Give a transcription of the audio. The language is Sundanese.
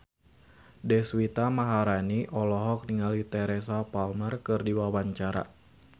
Deswita Maharani olohok ningali Teresa Palmer keur diwawancara